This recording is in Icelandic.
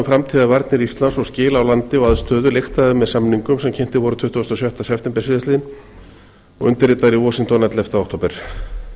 framtíðarvarnir íslands og skil á landi og aðstöðu lyktaði með samningum sem kynntir voru tuttugasta og sjötta september síðastliðinn og undirritaðir í washington ellefta október